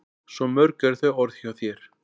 Svo mörg eru þau orð hjá þér.